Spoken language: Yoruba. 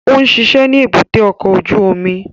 Ó ń ṣiṣẹ́ ní èbúté ọkọ̀ ojú omi